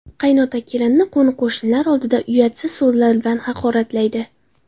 Qaynota kelinini qo‘ni-qo‘shnilar oldida uyatsiz so‘zlar bilan haqoratlaydi.